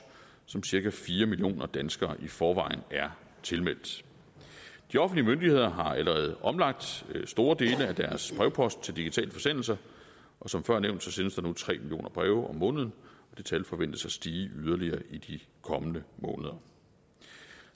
som cirka fire millioner danskere i forvejen er tilmeldt de offentlige myndigheder har allerede omlagt store dele af deres brevpost til digitale forsendelser og som før nævnt sendes der nu tre millioner breve om måneden og det tal forventes at stige yderligere i de kommende måneder